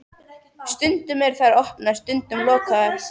Stundum eru þær opnar, stundum lokaðar.